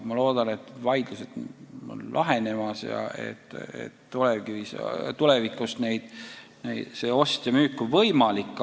Ma loodan, et need vaidlused on lahenemas ja et tulevikus see ost ja müük on võimalik.